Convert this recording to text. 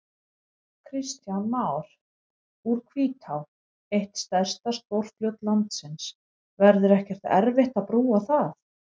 Kristján Már: Úr Hvítá, eitt stærsta stórfljót landsins, verður ekkert erfitt að brúa það?